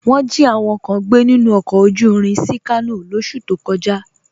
Wọn jí àwọn kàn gbẹ̀ nínu ọkọ̀ ojú ìrìn sí Kàno lọsú tó kọ̀já